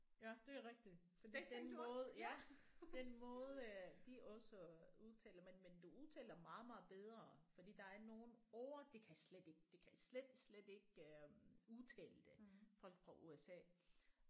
Ja det er rigtigt fordi den måde ja den måde øh de også udtaler men men du udtaler meget meget bedre fordi der er nogle ord de kan slet ikke de kan slet slet ikke øh udtale det folk fra USA